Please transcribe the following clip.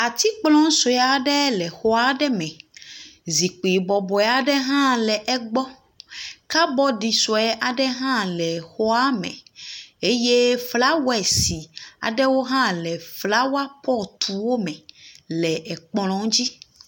Atsikplɔ sue aɖe le xɔa ɖe me. Zikpui bɔbɔe aɖe hã le egbɔ. Kabɔdi sue aɖe hã le xɔa me eye flawesi aɖewo hã le flawapɔtuwo me le ekplɔ dzi.